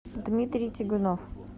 дмитрий тигунов